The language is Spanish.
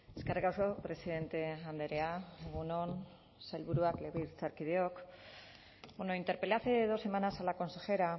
eskerrik asko presidente andrea egun on sailburuak legebiltzarkideok bueno interpelé hace dos semanas a la consejera